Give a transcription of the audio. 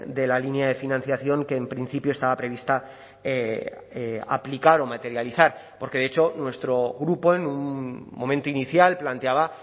de la línea de financiación que en principio estaba prevista aplicar o materializar porque de hecho nuestro grupo en un momento inicial planteaba